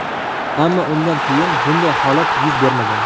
Ammo undan keyin bunday holat yuz bermagan.